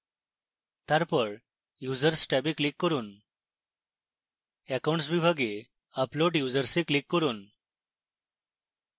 তারপর users ট্যাবে click করুন accounts বিভাগে upload users এ click করুন